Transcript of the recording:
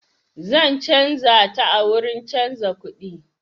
Zan canja ta a wurin canja kudi.